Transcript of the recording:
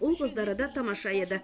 ұл қыздары да тамаша еді